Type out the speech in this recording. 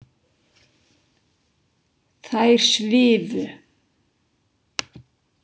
Þær svifu.